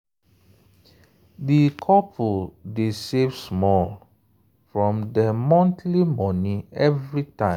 di couple dey save small from dem monthly money every time.